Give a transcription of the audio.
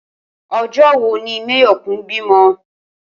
O̩jó̩ wo ni Máyò̩kún bímo̩?